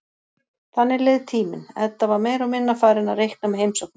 Þannig leið tíminn, Edda var meira og minna farin að reikna með heimsóknum